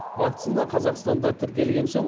вакцина қазақстанда тіркелген соң